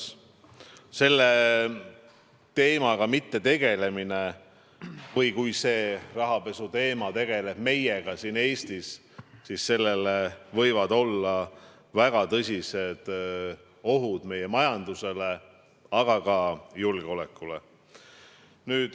Kui me selle teemaga ei tegele või kui see rahapesu teema tegeleb meiega siin Eestis, siis see võib olla väga tõsine oht meie majandusele ja ka julgeolekule.